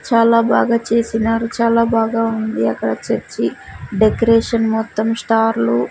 చాలా బాగా చేసినారు చాలా బాగా ఉంది అక్కడ చర్చి డెకరేషన్ మొత్తం స్టార్లు .